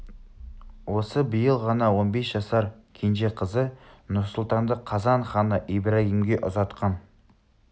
осы биыл ғана он бес жасар кенже қызы нұр-сұлтанды қазан ханы ибрагимге ұзатқан